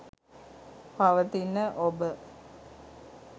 පවතින ඔබ